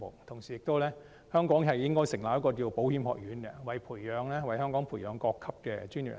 同時，香港應該成立一所保險學院，為香港培育各級專業人才。